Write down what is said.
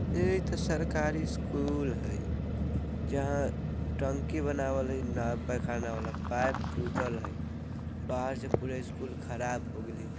ए इते सरकारी स्कूल हय जहाँ टंकी बनावल हय ना पेखाना वाला पाइप टूटल हय बाहर से पूरा स्कूल खराब हो गेले।